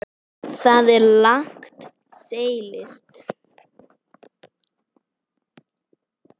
Þar er langt seilst.